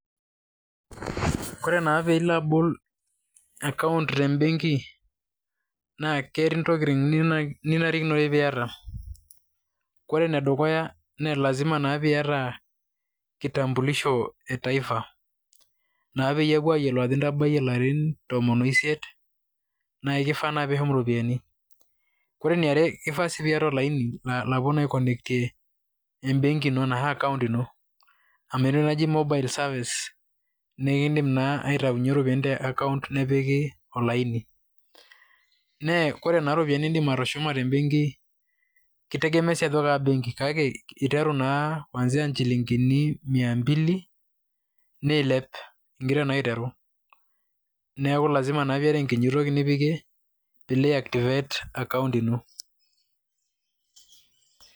Kore naa pee ilo abol akaunt te mbenki naa ketii ntokitin ninarikinore piiyata. Kore ene dukuya nee lazima naa piiyata kitambulisho e taifa naa peyolou ajo intabayie larin tomon o isiet naake kifaa naa piishum iropiani. Kore eniare naa ifaa naa piyata olaini lapuei aikonnectie embenki ino anashu akaunt ino amu eti entoki najii mobile service nee kiindim naa aitaunye ropiani te akaunt nepiki olaini. Nee kore naa ropiani niindim atushuma te mbenki kitegemea sii ajo kaa benki kake iteru naa kuanzia inchilingini mia mbili, nilep ing'ira naa aiteru. Neeku lazima naa pee iata enkiti toki nipik piilo aiactivate akaunt ino.